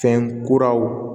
Fɛn kuraw